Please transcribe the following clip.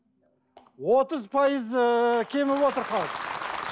отыз пайызы кеміп отыр